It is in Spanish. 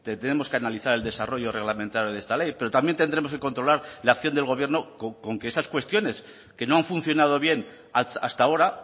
tenemos que analizar el desarrollo reglamentario de esta ley pero también tendremos que controlar la acción del gobierno con que esas cuestiones que no han funcionado bien hasta ahora